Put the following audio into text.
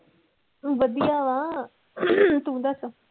ਵਧੀਆ ਵਾ ਤੂੰ ਦੱਸ?